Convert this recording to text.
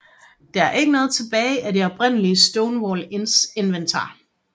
Der er dog ikke noget tilbage af det oprindelige Stonewall Inns inventar